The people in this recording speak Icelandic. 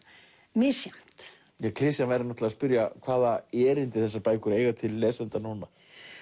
misjafnt klisjan væri náttúrulega að spyrja hvaða erindi þessar bækur eiga til lesenda núna